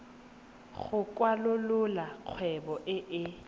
go kwalolola kgwebo e e